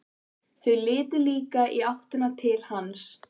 Þau litu líka í áttina til hans.